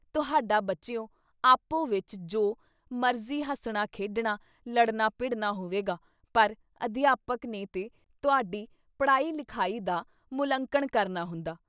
ਤੁਹਾਡਾ ਬੱਚਿਓ! ਆਪੋ ਵਿੱਚ ਜੋ ਮਰਜ਼ੀ ਹੱਸਣਾ-ਖੇਡਣਾ, ਲੜਨਾ ਭਿੜਨਾ ਹੋਵੇਗਾ ਪਰ ਅਧਿਆਪਕ ਨੇ ਤੇ ਤੁਆਡੀ ਪੜ੍ਹਾਈ ਲਿਖਾਈ ਦਾ ਮੂਲ-ਅੰਕਣ ਕਰਨਾ ਹੁੰਦਾ।